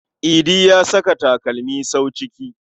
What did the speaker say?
Idi ya saka takalmin sawu ciki.